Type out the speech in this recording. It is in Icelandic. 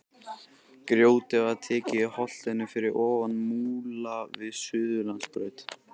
Grjótið var tekið í holtinu fyrir ofan Múla við Suðurlandsbraut.